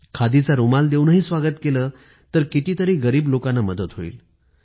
खादीचा रुमाल देऊनही स्वागत केलं तर किती गरीब लोकांना मदत होईल